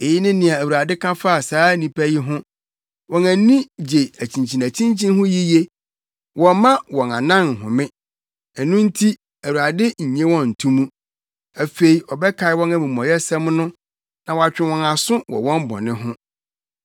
Eyi ne nea Awurade ka fa saa nnipa yi ho: “Wɔn ani gye akyinkyinakyinkyin ho yiye; wɔmma wɔn anan nhome. Ɛno nti Awurade nnye wɔn nto mu; afei ɔbɛkae wɔn amumɔyɛsɛm no na watwe wɔn aso wɔ wɔn bɔne ho.”